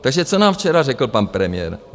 Takže co nám včera řekl pan premiér.